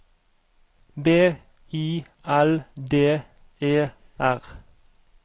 B I L D E R